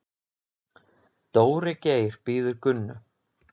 Dóri Geir bíður Gunnu.